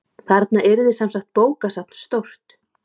Þarna yrði semsagt bókasafn stórt.